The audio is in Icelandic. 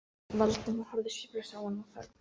Valdimar horfði sviplaus á hana og þagði.